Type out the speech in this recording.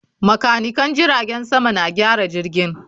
Makanikan jiragen sama na gyara jirgin